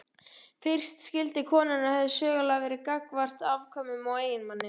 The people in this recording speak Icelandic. Fyrsta skylda konunnar hefur sögulega verið gagnvart afkvæmum og eiginmanni.